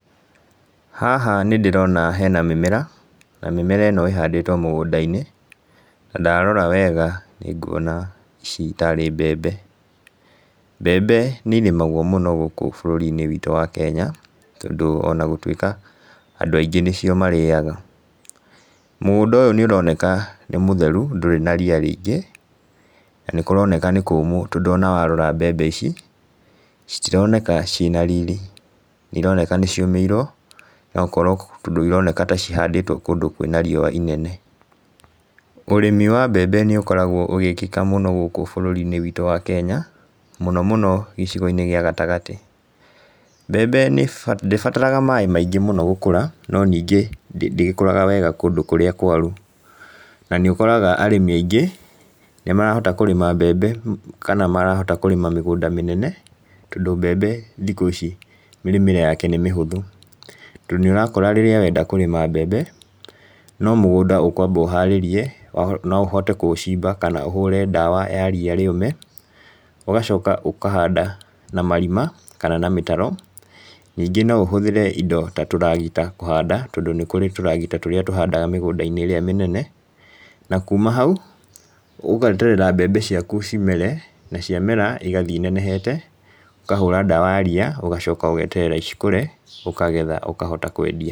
Haha nĩ ndĩrona hena mĩmera, na mĩmera ĩno ĩhandĩtwo mũgũnda-inĩ, na ndarora wega nĩnguona ici tarĩ mbembe. Mbembe nĩ irĩmagwo mũno gũkũ bũrũri witũ wa Kenya tondũ onagũtuĩka andũ aingĩ nĩcio marĩaga. Mũgũnda ũyũ nĩ ũroneka nĩ mũtheru ndũrĩ na ria rĩingĩ na nĩ kũroneka nĩ kũmũ tondũ onawarora mbembe ici citironeka cirĩ na riri, nĩ ironeka nĩ ciũmĩirwo no ũkorwo, tondũ ironeka ta cihandĩtwo kũndũ kwĩna riũa inene. Ũrĩmi wa mbembe nĩ ũkoragwo ũgĩkĩka mũno gũkũ bũrũri witũ wa Kenya, mũno mũno gĩcigo-inĩ gĩa gatagatĩ. Mbembe ndĩbataraga maĩ maingĩ mũno gũkũra no ningĩ ndĩgĩkũraga wega kũndũ kũrĩa kwaru. Na nĩ ũkoraga arĩmi aingĩ, nĩ marahota kũrĩma mbembe kana marahota kũrĩma mĩgũnda mĩnene tondũ mbembe thikũ ici mĩrĩmĩre yake nĩ mĩhũthũ, tondũ nĩ ũrakora rĩrĩa wenda kũrĩma mbembe, no mũgũnda ũkwamba ũharĩrie, no ũhote kũcimba kana ũhũre ndawa ya ria rĩũme, ũgacoka ũkahanda na marima kana na mĩtaro, ningĩ no ũhũthĩre indo ta tũragita kũhanda tondũ nĩ kũrĩ tũragita tũrĩa tũhandaga mĩgũnda-inĩ ĩrĩa menene. Na kuma hau, ũgeterera mbembe ciaku cimere na ciamera igathiĩ inenehete, ũkahũra ndawa ya ria ũgacoka ũgeterera cikũre ũkagetha ũkahota kwendia.